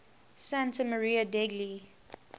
santa maria degli